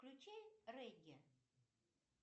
включи регги